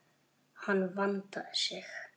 Hann vandaði sig.